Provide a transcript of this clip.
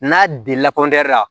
N'a dila la